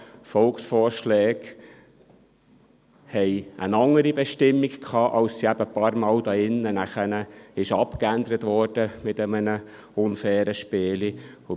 Volksvorschläge hatten eine andere Bestimmung, als dass sie hier drin ein paarmal mit einem unfairen Spiel abgeändert wurden.